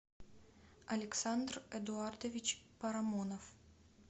александр эдуардович парамонов